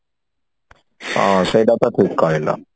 ହଁ ସେଇଟା ତ ଠିକ କହିଲ